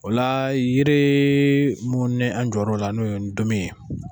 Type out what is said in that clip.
O la yiri mun n'an jɔr'o la n'o ye ntomi ye